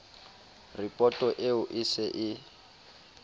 ripoto eo e se e